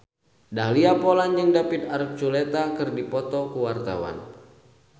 Dahlia Poland jeung David Archuletta keur dipoto ku wartawan